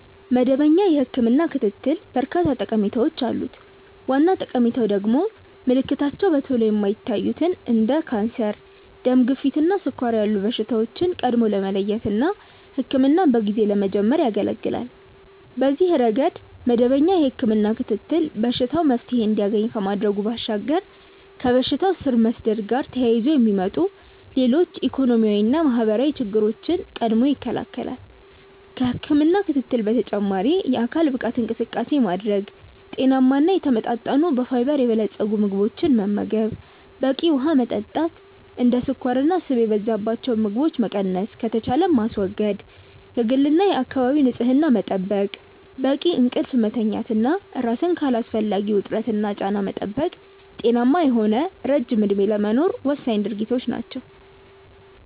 መደበኛ የህክምና ክትትል በርካታ ጠቀሜታዎች አሉት። ዋና ጠቀሜታው ደግሞ ምልክታቸው በቶሎ የማይታዩትን እንደ ካንሰር፣ ደም ግፊት እና ስኳር ያሉ በሽታዎችን ቀድሞ ለመለየት እና ህክምናን በጊዜ ለመጀመር ያገለገላል። በዚህ ረገድ መደበኛ የህክምና ክትትል በሽታው መፍትሔ እንዲያገኝ ከማድረጉ ባሻገር ከበሽታው ስር መስደድ ጋር ተያይዞ የሚመጡ ሌሎች ኢኮኖሚያዊና ማህበራዊ ችግሮችን ቀድሞ ይከለከላል። ከህክምና ክትትል በተጨማሪ የአካል ብቃት እንቅስቃሴ ማድረግ፣ ጤናማ እና የተመጣጠኑ በፋይበር የበለፀጉ ምግቦችን መመገብ፣ በቂ ውሀ መጠጣት፣ እንደ ስኳርና ስብ የበዛባቸው ምግቦችን መቀነስ ከተቻለም ማስወገድ፣ የግልና የአካባቢ ንጽህና መጠበቅ፣ በቂ እንቅልፍ መተኛት እና ራስን ከአላስፈላጊ ውጥረትና ጫና መጠበቅ ጤናማ የሆነ ረጅም እድሜ ለመኖር ወሳኝ ድርጊቶች ናቸው።